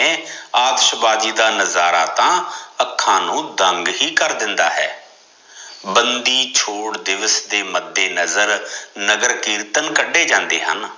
ਅਤਾਸ਼ਬਾਜ਼ੀ ਦਾ ਨਜ਼ਾਰਾ ਤਾਂ ਅਖਾਂ ਨੂ ਦੰਗ ਹੀ ਕਰ ਦਿੰਦਾ ਹੈ ਬੰਦੀ ਛੋੜ ਦਿਵਸ ਦੇ ਮੰਦੇ ਨਜ਼ਰ ਨਗਰ ਕੀਰਤਨ ਕੱਡੇ ਜਾਂਦੇ ਹਨ